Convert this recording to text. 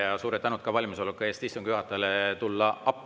Ja suur tänu ka valmisoleku eest istungi juhatajale appi tulla!